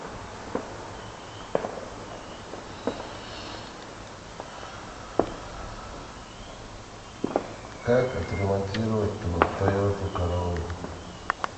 как отремонтировать тойоту короллу